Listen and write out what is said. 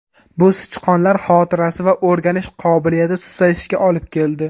Bu sichqonlar xotirasi va o‘rganish qobiliyati susayishiga olib keldi.